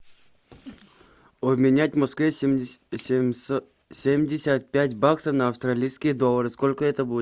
обменять в москве семьдесят пять баксов на австралийские доллары сколько это будет